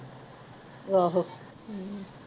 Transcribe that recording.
ਆਹੋ ਹਮ